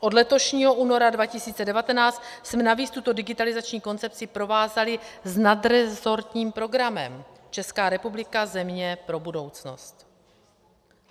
Od letošního února 2019 jsme navíc tuto digitalizační koncepci provázali s nadresortním programem - Česká republika: země pro budoucnost.